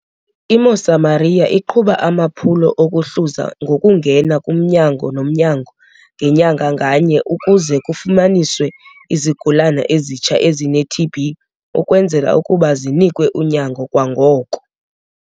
I-Mosamaria iqhuba amaphulo okuhluza ngokungena kumnyango nomnyango ngenyanga nganye ukuze kufunyaniswe izigulana ezitsha ezine-TB ukwenzela ukuba zinikwe unyango kwangoko.